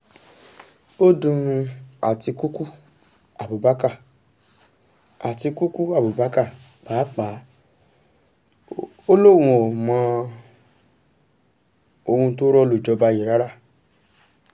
ó dun àtikukú abubakar àtikukú abubakar pàápàá ò lóun ò mọ ohun tó rọ́ lu jọba yìí rárá